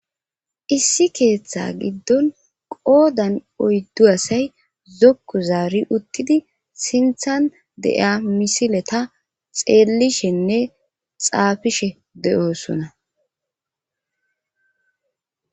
Issi keeththa giddon qoodan oyddu asay zokko zaari uttidi sinthan de'iya misileta xeellishenne xaafishe de'oosona